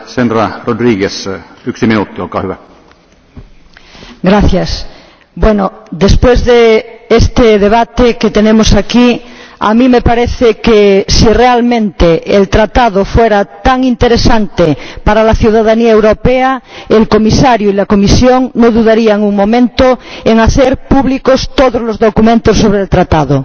Señor Presidente, después de este debate que tenemos aquí, a mí me parece que si realmente el Tratado fuera tan interesante para la ciudadanía europea, el Comisario y la Comisión no dudarían un momento en hacer públicos todos los documentos sobre el Tratado.